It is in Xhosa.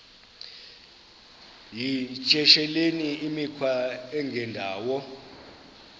yityesheleni imikhwa engendawo